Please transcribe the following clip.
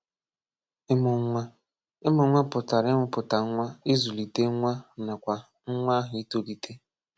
Ị mụ nwa: Ị mụ nwa pụtara ịmụpụta nwa, izụlite nwa nakwa nwa ahụ itolite